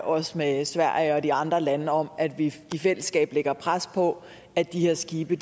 også med sverige og de andre lande om at vi i fællesskab lægger pres på at de her skibe